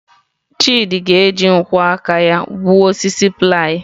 Chidị ga-eji nkwọ aka ya gbuo osisi ply.